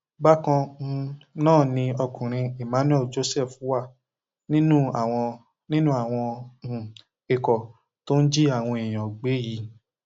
bákan um náà ni ọkùnrin emmanuel joseph wà nínú àwọn nínú àwọn um ikọ tó ń jí àwọn èèyàn gbé yìí